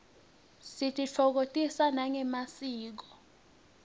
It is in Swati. sititfokotisa nangemasiko